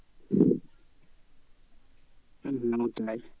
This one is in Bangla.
হম হম ওটাই